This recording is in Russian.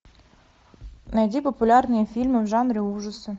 найди популярные фильмы в жанре ужасы